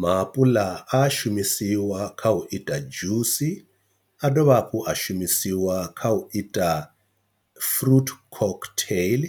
Maapuḽa a shumisiwa kha u ita dzhusi, a dovha hafhu a shumisiwa kha u ita fruit cocktail,